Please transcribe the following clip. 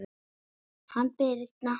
Hanna Birna.